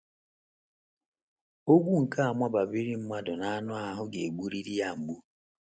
Ogwu nke mabamiri mmadụ n’anụ ahụ́ ga-egburiri ya mgbu.